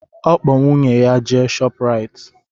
Ọ kpọ nwunye ya jee Shọprayiti